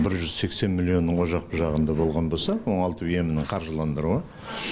бір жүз сексен миллионның о жақ бұ жағында болған болса оңалту емінің қаржыландырылуы